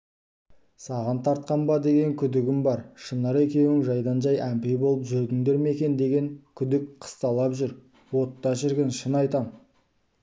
саған тартқан ба деген күдигім бар шынар екеуің жайдан-жай әмпей болып жүрдіңдер ме екен деген күдік қысталап жүр отта шіркін шын айтам